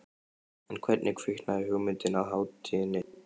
En hvernig kviknaði hugmyndin að hátíðinni?